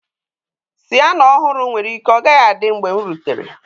Siyana ọhụrụ nwere ike ọ gaghị adị mgbe m rutere.